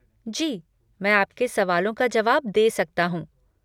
जी, मैं आपके सवालों का जवाब दे सकता हूँ।